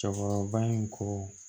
Cɛkɔrɔba in ko